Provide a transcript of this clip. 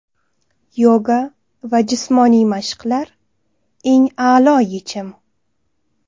Yoga va jismoniy mashqlar eng a’lo yechim.